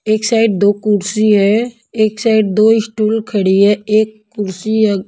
एक साइड दो कुर्सी है एक साइड दो स्टूल खड़ी है एक कुर्सी--